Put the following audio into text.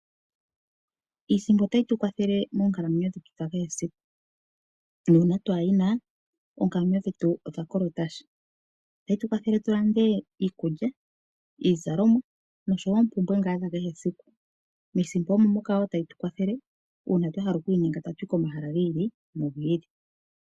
Iisimpo otayi tu kwathele moonkalamwenyo dhetu dha kehe siku, nuuna twaa yi na oonkalamwenyo dhetu odha kolota sha. Otayi tu kwathele tu lande iikulya, iizalomwa noshowo oompumbwe ngaa dha kehe siku. Miisimpo omo moka wo tayi tu kwathele uuna twa hala oku inyenga tatu yi komahala gi ili nogi ili.